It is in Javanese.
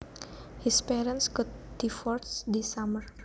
His parents got divorced this summer